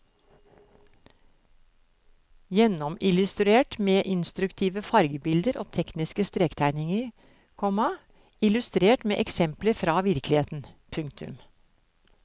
Gjennomillustrert med instruktive fargebilder og tekniske strektegninger, komma illustrert med eksempler fra virkeligheten. punktum